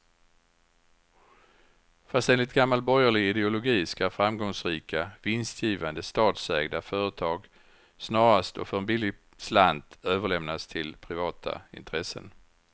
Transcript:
Fast enligt gammal borgerlig ideologi ska framgångsrika, vinstgivande statsägda företag snarast och för en billig slant överlämnas till privata intressen.